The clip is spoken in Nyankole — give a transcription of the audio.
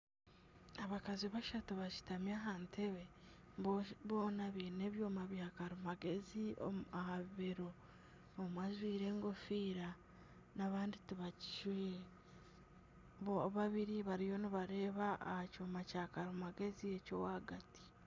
Abakazi bashatu bashutami aha ntebe boona baine ebyooma bya karimagyezi aha bibero omwe ajwaire egofiira n'abandi tibagijwaire babiri bariyo nibareeba aha kyoma kya karimagyezi eky'owagati.